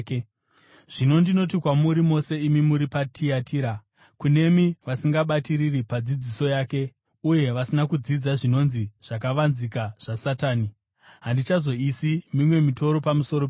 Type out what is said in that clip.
Zvino ndinoti kwamuri mose imi muri paTiatira, kunemi vasingabatiriri padzidziso yake uye vasina kudzidza zvinonzi zvakavanzika zvaSatani (handichazoisi mimwe mitoro pamusoro penyu):